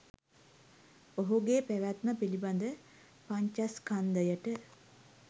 ඔහුගේ පැවැත්ම පිළිබඳ පංචස්කන්ධයට